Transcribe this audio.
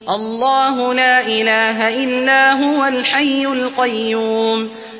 اللَّهُ لَا إِلَٰهَ إِلَّا هُوَ الْحَيُّ الْقَيُّومُ